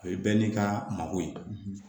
O ye bɛɛ n'i ka mako ye